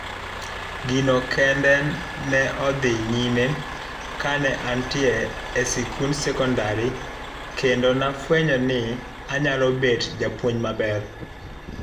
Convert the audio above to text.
Gino kende ne odhi nyime kane antie e sikund sekondarkendo nafuenyo ni anyalo bet japuonj maber,